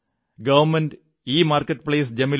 government e marketplace gem